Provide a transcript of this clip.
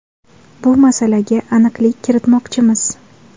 Bu masalaga aniqlik kiritmoqchimiz.